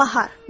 Bahar.